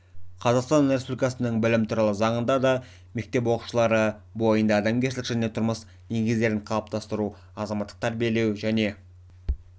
қазақстан республикасының білім туралы заңында да мектеп оқушылары бойында адамгершілік және тұрмыс негіздерін қалыптастыру азаматтыққа тәрбиелеу және